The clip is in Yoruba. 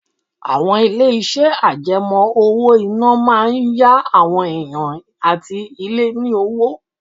Àwọn ilé-iṣẹ́ àjẹmọ́ owó-ìná máa ń yá àwọn èèyàn àti ilé ní owó